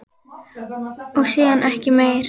Og síðan ekki meir?